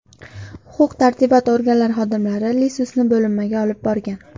Huquq-tartibot organlari xodimlari Iisusni bo‘linmaga olib borgan.